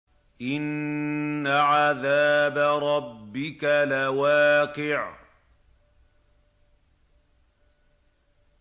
إِنَّ عَذَابَ رَبِّكَ لَوَاقِعٌ